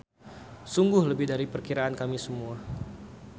Sungguh lebih dari perkiraan kami semula.